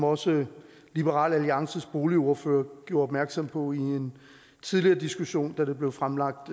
også liberal alliances boligordfører gjorde opmærksom på i en tidligere diskussion da det blev fremlagt